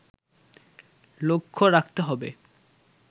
লক্ষ্য রাখতে হবে